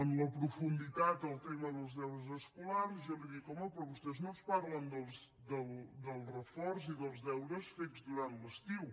en profunditat el tema dels deures escolars jo li dic home però vostès no ens parlen del reforç i dels deures fets durant l’estiu